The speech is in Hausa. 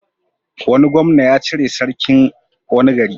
Wani gwamna ya cire sarkin wani gari.